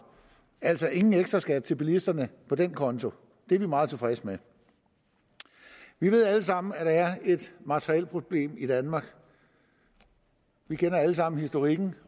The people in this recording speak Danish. altså ingen ekstraskat til bilisterne på den konto det er vi meget tilfredse med vi ved alle sammen at der er et materielproblem i danmark vi kender alle sammen historikken